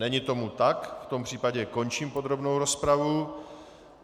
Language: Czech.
Není tomu tak, v tom případě končím podrobnou rozpravu.